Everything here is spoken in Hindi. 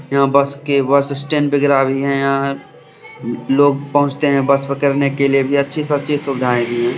यहाँ बस के बस स्टैंड वगैरा भी है यहाँ लोग पहुंचते है बस पकड़ने के लिए भी अच्छी से अच्छी सुविधाएं भी है।